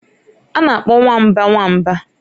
A na-akpọ nwamba nwa nwamba.